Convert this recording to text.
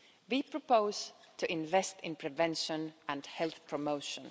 We propose to invest in prevention and health promotion.